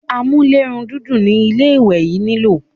amúlérùndídùn ni ilé ìwẹ̀ yín nilò.